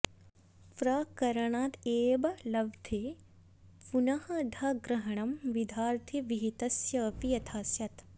प्रकरणादेव लब्धे पुनर् धाग्रहणम् विधार्थे विहितस्य अपि यथा स्यात्